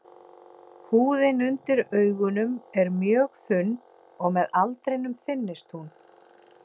Húðin undir augunum er mjög þunn og með aldrinum þynnist hún.